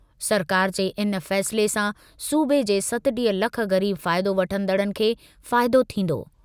सरकार जे इन फ़ैसिले सां सूबे जे सतटीह लख ग़रीब फ़ाइदो वठंदड़नि खे फ़ाइदो थींदो।